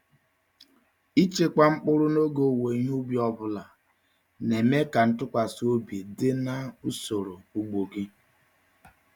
Ịchekwa mkpụrụ n’oge owuwe ihe ubi ọ bụla na-eme ka ntụkwasị obi dị na usoro ugbo gị.